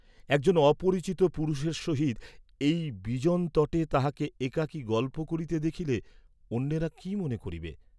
একজন অপরিচিত পুরুষের সহিত এই বিজনতটে তাহাকে একাকী গল্প করিতে দেখিলে অন্যেরা কি মনে করিবে?